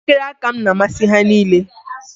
Elekere aka m na-amasị ha niile